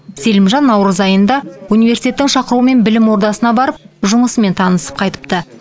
селимжан наурыз айында университеттің шақыруымен білім ордасына барып жұмысымен танысып қайтыпты